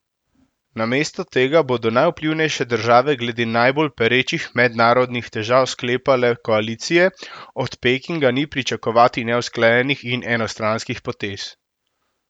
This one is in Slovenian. Namesto tega bodo najvplivnejše države glede najbolj perečih mednarodnih težav sklepale koalicije, od Pekinga ni pričakovati neusklajenih in enostranskih potez.